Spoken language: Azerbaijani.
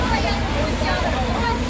Sağ əyləş.